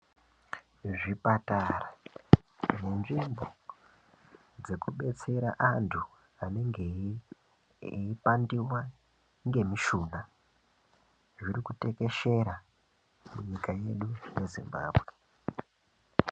Zvipatara nenzvimbo dzekubetsera antu anenge eipandiwa nemishina zvirikutekeshera munyika yedu yeZimbambwe.